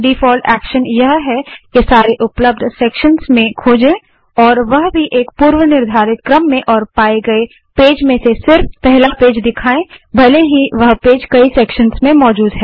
default action यह है कि सारे उपलब्ध सेक्शंस में खोजे और वह भी एक पूर्वनिर्धारित क्रम में और पाए गए पेज में से सिर्फ पहला पेज दिखाए भले ही वह पेज कई सेक्शंस में मौजूद है